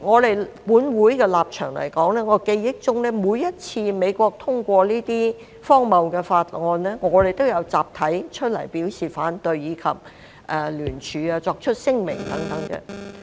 以本會的立場來說，在我記憶中，每一次美國通過這些荒謬的法案，我們都有集體出來表示反對，以及聯署、作出聲明等。